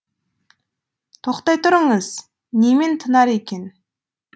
тоқтай тұрыңыз немен тынар екен